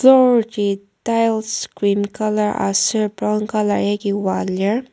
floor ji tiles cream colour aser brown colour yaki oa lir.